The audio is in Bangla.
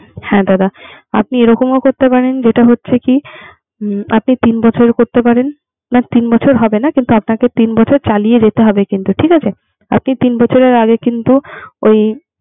হ্যাঁ দাদা আপনি এরকম ও যেটা হচ্ছে কি আপনি তিন বছরের করতে পারেন। না তিন বছর হবে না। কিন্তু আপনাকে তিন বছর চালিয়ে যেতে হবে কিন্তু ঠিক আছে। আপনি তিন বছরের আগে কিন্তু ওই